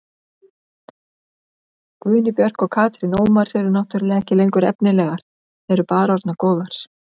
Guðný Björk og Katrín Ómars eru náttúrulega ekki lengur efnilegar, eru bara orðnar góðar.